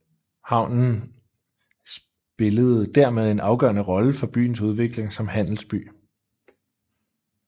Havnen spillerede dermed en afgørende rolle for byens udvikling som handelsby